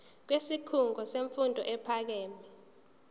kwisikhungo semfundo ephakeme